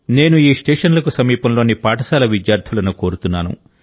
నేను ఈ స్టేషన్లకు సమీపంలోని పాఠశాల విద్యార్థులను కోరుతున్నాను